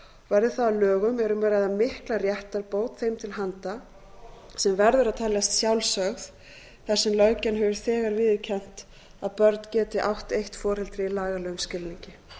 verði það að lögum er um að ræða mikla réttarbót þeim til handa sem verður að teljast sjálfsögð þar sem löggjafinn hefur þegar viðurkennt að börn geti átt eitt foreldri í lagalegum skilningi